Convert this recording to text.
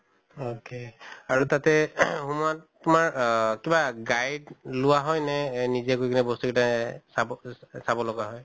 ok আৰু তাতে সোমোৱাত তোমাৰ আহ কিবা guide লোৱা হয় নে এহ নিজে গৈ কিনে বস্তু গিটা এহ চাব চাব লগা হয়?